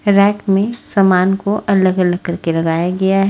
rack में समान को अलग अलग करके लगाया गया--